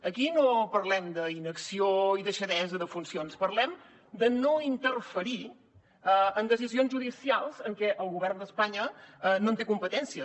aquí no parlem d’inacció i deixadesa de funcions parlem de no interferir en decisions judicials en què el govern d’espanya no té competències